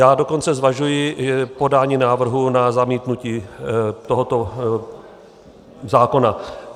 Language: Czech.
Já dokonce zvažuji podání návrhu na zamítnutí tohoto zákona.